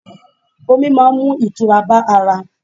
Ọmi máa ń mú ìtura bá ara.